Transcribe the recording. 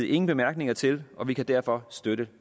ingen bemærkninger til og vi kan derfor støtte